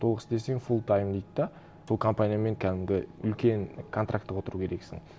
толық істесең фул тайм дейді де сол компаниямен кәдімгі үлкен контрактіге отыру керексің